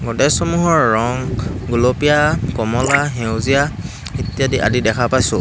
গোদৰেজ সমূহৰ ৰং গুলপীয়া কমলা সেউজীয়া ইত্যাদি আদি দেখা পাইছোঁ।